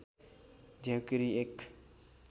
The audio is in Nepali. झ्याउँकीरी एक